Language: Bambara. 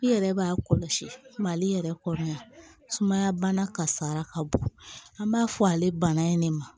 I yɛrɛ b'a kɔlɔsi mali yɛrɛ kɔni sumaya bana kasara ka bon an b'a fɔ ale bana in ne ma